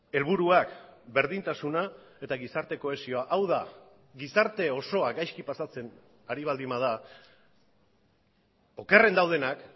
helburuak berdintasuna eta gizarte kohesioa hau da gizarte osoa gaizki pasatzen ari baldin bada okerren daudenak